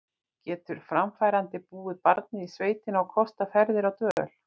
Getur framfærandi búið barnið í sveitina og kostað ferðir og dvöl?